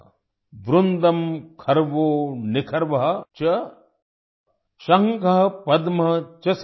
वृन्दं खर्वो निखर्व च शंख पद्म च सागर